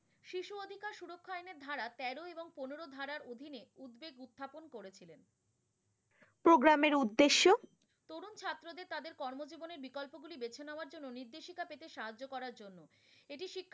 program এর উদ্দেশ্য। তরুন ছাত্রদের তাদের কর্মজীবনের বিকল্প গুলি বেছে নেওয়ার জন্য নির্দেশিকা পেতে সাহায্য জন্য। এটি শিক্ষা